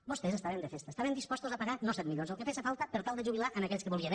vostès estaven de festa estaven disposats a pagar no set milions el que fes falta per tal de jubilar aquells que volien